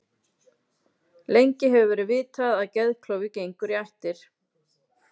Lengi hefur verið vitað að geðklofi gengur í ættir.